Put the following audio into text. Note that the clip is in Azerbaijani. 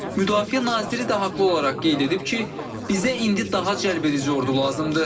Müdafiə naziri də haqlı olaraq qeyd edib ki, bizə indi daha cəlbedici ordu lazımdır.